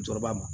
Jɔrɔba ma